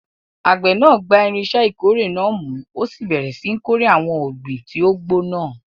Àgbẹ̀ náà gba irinṣẹ́ ìkórè náà mú, ó sì bẹ̀rẹ̀ síi kórè àwọn ọ̀gbìn tó ti gbó náà.